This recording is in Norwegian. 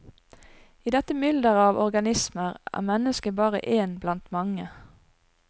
I dette mylderet av organismer er mennesket bare én blant mange.